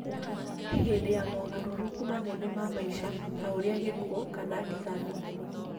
Hĩndĩ ya mogarũrũku manene ma maica, ta ũrĩa gĩkuo kana ndigano,